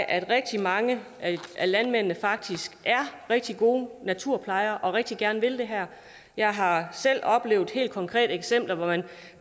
at rigtig mange af landmændene faktisk er rigtig gode naturplejere og rigtig gerne vil det her jeg har selv oplevet helt konkrete eksempler hvor man